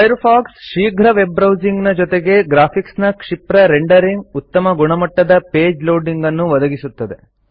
Firefox ಶೀಘ್ರ ವೆಬ್ಬ್ರೌಸಿಂಗ್ನ ಜೊತೆಗೆ ಗ್ರಾಫಿಕ್ಸ್ನ ಕ್ಷಿಪ್ರ ರೆಂಡರಿಂಗ್ ಉತ್ತಮ ಗುಣಮಟ್ಟದ ಪೇಜ್ ಲೋಡಿಂಗನ್ನು ಒದಗಿಸುತ್ತದೆ